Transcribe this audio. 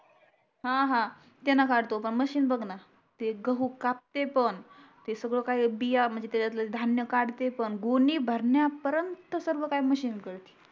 हा हा त्यान काढतो मशीन बघ ना गहू कापते पण ते सगड काही बिया त्यामधल धान्य काढते पण गोणी भरण्या परेंट सर्व काही मशीन करते